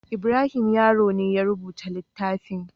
Ibrahim Yaro ne ya rubuta littafin.